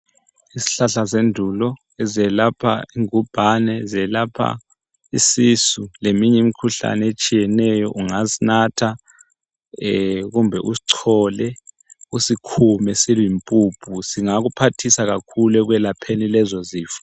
Izihlahla zendulo ezelapha ingubhane, zelapha isisu leminye imkhuhlane etshiyeneyo, ungasinatha kumbe usichole usikhume siyimpuphu singakuphathisa kakhulu ekwelapheni lezo zifo.